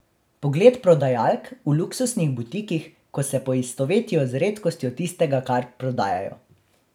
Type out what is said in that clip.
Pogled prodajalk v luksuznih butikih, ko se poistovetijo z redkostjo tistega, kar prodajajo.